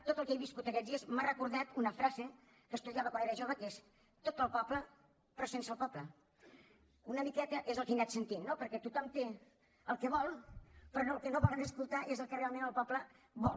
tot el que he viscut aquests dies m’ha recordat una frase que estudiava quan era jove que és tot per al poble però sense el poble una miqueta és el que he anat sentint no perquè tothom té el que vol però el que no volen escoltar és el que realment el poble vol